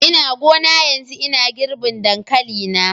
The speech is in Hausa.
Ina gona yanzu ina girbin dankali na.